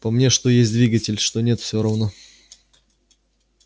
по мне что есть двигатель что нет всё равно